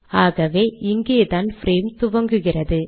ஆகவே இங்கேதான் பிரேம் துவங்குகிறது